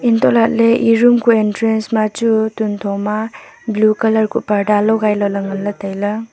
entolale ee room ku entrance ma chu tunthoma blue colour ku parda logai lale nganle taile.